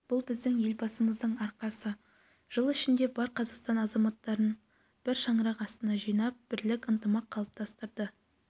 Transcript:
бұл біздің елбасымыздың арқасы жыл ішінде бар қазақстан азаматтарын бір шаңырақ астына жинап бірлік ынтымақ қалыптастырды